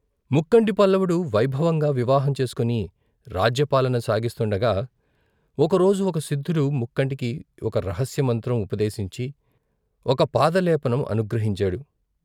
ముక్కంటి పల్లపుడు వైభవంగా వివాహం చేసుకుని రాజ్య పాలన సాగిస్తుండగా ఒకరోజు ఒక సిద్ధుడు ముక్కంటికి ఒక రహస్య మంత్రం ఉపదేశించి ఒక పాదలేపనం అనుగ్రహించాడు.